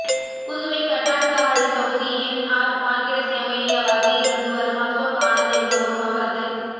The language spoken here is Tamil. புதுவை தட்டான்சாவடி தொகுதி என்ஆர் காங்கிரஸ் எம்எல்ஏவாக இருந்து வரும் அசோக் ஆனந்த் என்பவரும் அவரது